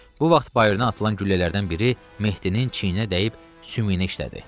Bu vaxt bayırdan atılan güllələrdən biri Mehdinin çiyninə dəyib sümüyünə işlədi.